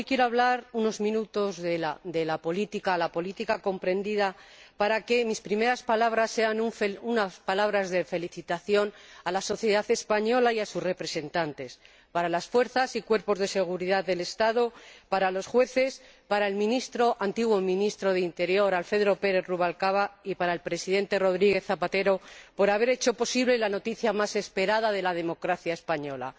Hoy quiero hablar unos minutos de la política, la política comprendida, para que mis primeras palabras sean unas palabras de felicitación a la sociedad española y a sus representantes, a las fuerzas y cuerpos de seguridad del Estado, a los jueces, al antiguo ministro del Interior, Alfredo Pérez Rubalcaba, y al presidente Rodríguez Zapatero, por haber hecho posible la noticia más esperada de la democracia española